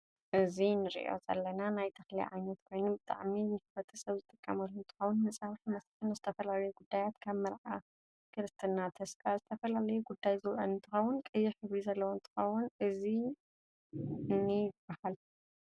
እዚ ንርኦ ዘለና ናይ ተክሊ ዓይነት ኮይኑ ብጣዐሚ ንሕረተሰብ ዝጥቀመሉ እንትከውን ንፀብሕ መስርሕ ንዝተፈላለዩ ጉዳያት ከም መርዓ፣ ክርስትና ፣ተስካር ዝተፈላላዩ ጉዳይ ዝውዕል እንትከውን ቀይሕ ሕብሪ ዘለዎ እንትከውን እዚ እንይ ይበሃል?